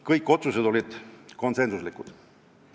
Kõik otsused olid konsensuslikud.